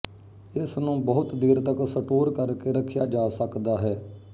ਇਸਨੂੰ ਬਹੁਤ ਦੇਰ ਤੱਕ ਸਟੋਰ ਕਰ ਕੇ ਰੱਖਿਆ ਜਾ ਸਕਦਾ ਹੈ